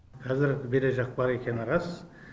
қазір берешек бар екені рас